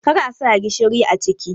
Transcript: kar a sa gishiri a ciki.!